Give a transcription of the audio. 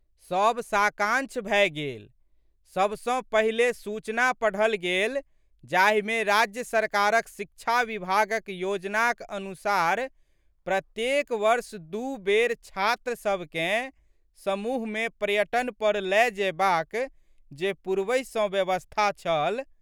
सब साकांक्ष भए गेल। सब सँ पहिले सूचना पढ़ल गेल जाहिमे राज्य सरकारक शिक्षा विभागक योजनाक अनुसार प्रत्येक वर्ष दू बेर छात्रसबकेँ समूहमे पर्यटन पर लए जयबाक जे पूर्वहि सँ व्यवस्था छल।